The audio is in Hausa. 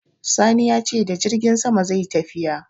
Sani ya ce da jirgin sama zai yi tafiya.